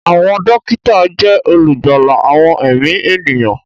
Àwọn dókítà jẹ́ olùgbàlà àwọn ẹ̀mí ènìyàn